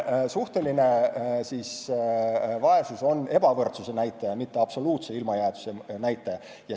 Suhteline vaesus on ebavõrdsuse näitaja, mitte absoluutse ilmajäetuse näitaja.